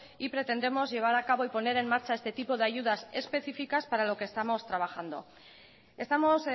y pretendemos llevar a cabo y poner en marcha este tipo de ayudas específicas para lo que estamos trabajando estamos